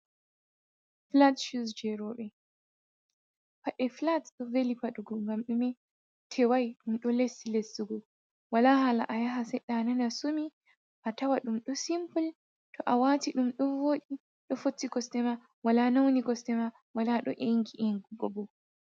flat shows je rooɓe, pade flat ɗo veli paɗugo ngam ɗume, tewai ɗum ɗo lesti lestugo wala hala ayaha seɗɗa anana asumi, atawa ɗum ɗo simple to awati ɗum ɗo vooɗi ɗo fotti kosɗe ma, wala anauni kosɗe ma wala ɗo engi engugo.